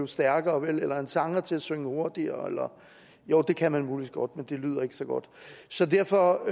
stærkere vel eller en sanger til at synge hurtigere jo det kan man muligvis godt men det lyder ikke så godt så derfor